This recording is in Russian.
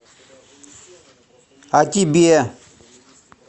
а тебе